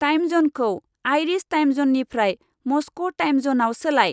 Time ज'नखौ आइरिश time ज'ननिफ्राय मस्क' टाइम ज'नाव सोलाय।